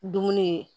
Dumuni